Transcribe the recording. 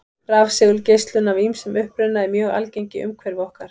Rafsegulgeislun af ýmsum uppruna er mjög algeng í umhverfi okkar.